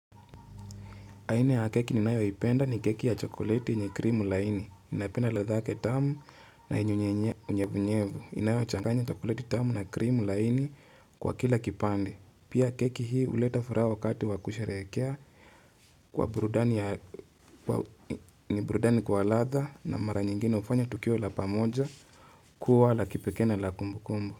Aina ya keki ninayoipenda ni keki ya chokolete yenye krimu laini. Ninapenda ladha yake tamu na yenye nyevunyevu inayochanganya chokolete tamu na krimu laini kwa kila kipande. Pia keki hii huleta furaha wakati wa kusherehekea kwa burudani kwa ladha na mara nyingine hufanya tukio la pamoja kuwa la kipekee na la kumbu kumbu.